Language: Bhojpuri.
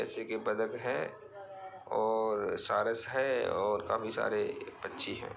जैसे की बदग है और सारस है और काफी सारे पंछी हैं ।